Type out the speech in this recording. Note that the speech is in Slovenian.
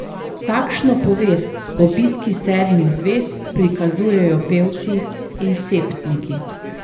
Takšno povest o bitki sedmih zvezd prikazujejo pevci in septniki.